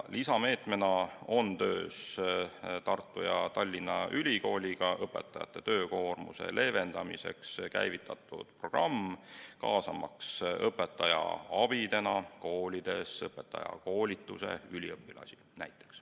Lisameetmena on koostöös Tartu ja Tallinna Ülikooliga käivitatud õpetajate töökoormuse leevendamiseks programm, kaasamaks koolidesse õpetaja abideks näiteks õpetajakoolituse üliõpilasi.